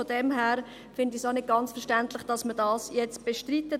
Von daher finde ich es auch nicht ganz verständlich, dass man dies jetzt bestreitet.